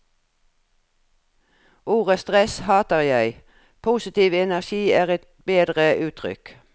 Ordet stress hater jeg, positiv energi er et bedre uttrykk.